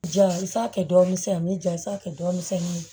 Ja i t'a kɛ dɔ misɛny'a kɛ dɔ misɛnnin ye